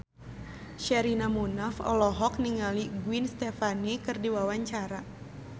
Sherina Munaf olohok ningali Gwen Stefani keur diwawancara